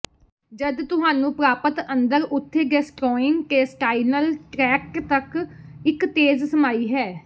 ਜਦ ਤੁਹਾਨੂੰ ਪ੍ਰਾਪਤ ਅੰਦਰ ਉੱਥੇ ਗੈਸਟਰ੍ੋਇੰਟੇਸਟਾਈਨਲ ਟ੍ਰੈਕਟ ਤੱਕ ਇੱਕ ਤੇਜ਼ ਸਮਾਈ ਹੈ